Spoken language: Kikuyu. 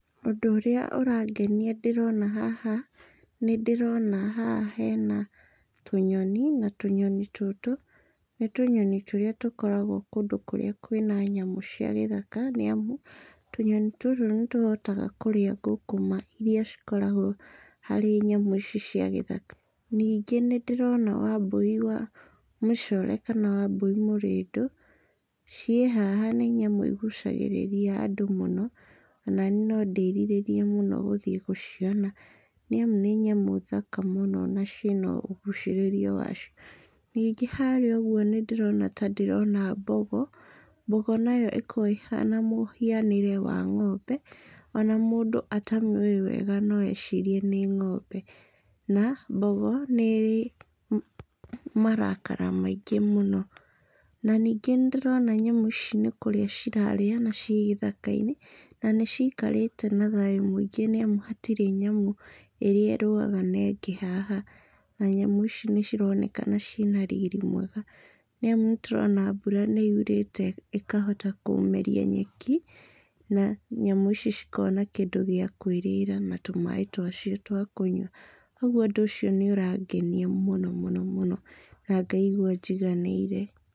Ũndũ ũrĩa ũrangenia ndĩrona haha, nĩ ndĩrona haha hena tũnyoni, na tũnyoni tũtũ nĩ tũnyoni tũrĩa tũkoragwo kũndũ kũrĩa kwĩna nyamũ cia gĩthaka nĩ amu, tũnyoni tũtũ nĩ tũhotaga kũrĩa ngũngũma iria cikoragwo harĩ nyamũ ici cia gĩthaka. Ningĩ nĩ ndĩrona wambũi wa mĩcore kana wambũi mũrĩndũ, ciĩ haha, nĩ nyamũ igucagĩrĩria andũ mũno, o na niĩ no ndĩĩrirĩrie mũno gũthiĩ gũciona nĩ amu nĩ nyamũ thaka mũno na ciĩna ũgucĩrĩrio wacio. Ningĩ harĩa ũguo nĩ ndĩrona ta ndĩrona mbogo. Mbogo nayo ĩko ĩhana mũhianĩre wa ng'ombe, o na mũndũ atamĩũĩ wega no ecirie nĩ ng'ombe, na, mbogo nĩ ĩrĩ marakara maingĩ mũno. Na ningĩ nĩ ndĩrona nyamũ ici nĩ kũrĩa cirarĩa na ciĩ gĩthaka-inĩ, na nĩ ciikarĩte na thayũ mũingĩ nĩ amu hatirĩ na nyamũ ĩrĩa ĩrũaga na ĩngĩ haha. Na nyamũ ici nĩ cironekana ciĩna riri mwega, nĩ amu nĩ tũrona mbura nĩ yũrĩte ĩkahota kũmeria nyeki, na nyamũ ici cikona kĩndũ gĩa kũĩrĩra na tũmaaĩ twacio twa kũnyua. Kwoguo ũndũ ũcio ni ũrangenia mũno mũno mũno na ngaigwa njiganĩire.